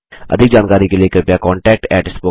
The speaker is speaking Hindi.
अधिक जानकारी के लिए कृपया contactspoken tutorialorg पर लिखें